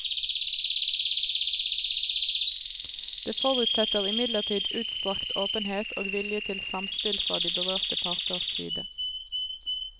Det forutsetter imidlertid utstrakt åpenhet og vilje til samspill fra de berørte parters side.